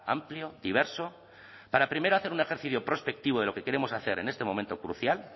amplio diverso para primero hacer un ejercicio prospectivo de lo que queremos hacer en este momento crucial